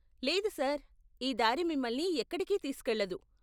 లేదు సార్, ఈ దారి మిమల్ని ఎక్కడికీ తీసుకెళ్లదు.